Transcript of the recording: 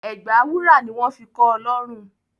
Ẹ̀gbà wúrà ni wọn fi kọọ lọrùn